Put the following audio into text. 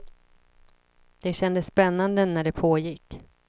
Det kändes spännande när det pågick.